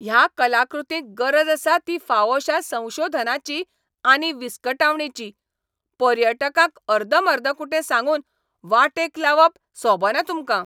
ह्या कलाकृतींक गरज आसा ती फावोशा संशोधनाची आनी विस्कटावणेची, पर्यटकांक अर्दमर्दकुटें सांगून वाटेक लावप सोबना तुमकां.